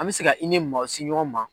An me se i ni maaw se ɲɔgɔn ma